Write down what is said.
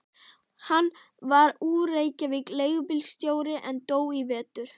Hann var úr Reykjavík, leigubílstjóri, en dó í vetur.